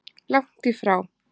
Langt í frá!